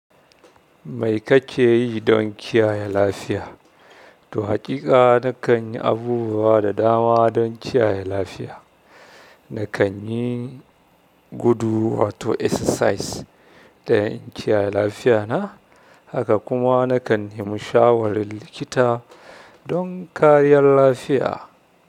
Mai kake yi don kiyaye lafiya? To haƙiƙa na kan yi abubuwa da dama don kiyaye lafiya. Na kan yi gudu wato exercise don in kiyaye lafiyata. Haka kuma na kan nemi shawarin likita don kariyar lafiya.